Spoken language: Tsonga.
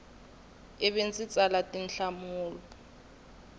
i vi ndzi tsala tinhlamulo